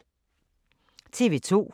TV 2